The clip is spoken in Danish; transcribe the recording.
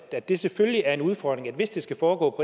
at det selvfølgelig er en udfordring at hvis det skal foregå